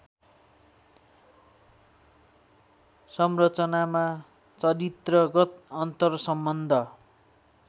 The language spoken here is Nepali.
संरचनामा चरित्रगत अन्तर्सम्बन्ध